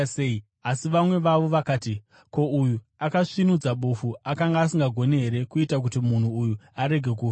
Asi vamwe vavo vakati, “Ko, uyu akasvinudza bofu akanga asingagoni here kuita kuti munhu uyu arege kufa?”